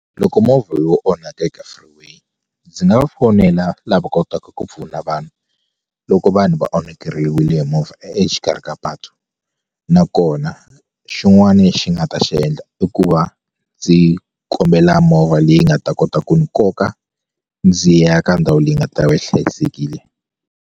Loko movha yo onhaka eka freeway ndzi nga va fonela lava kotaka ku pfuna vanhu loko vanhu va onhakeriwile hi movha exikarhi ka patu nakona na xin'wani lexi ni nga ta xi endla i ku va ndzi kombela movha leyi nga ta kota ku ni koka ndzi ya ka ndhawu leyi nga ta va yi hlayisekile.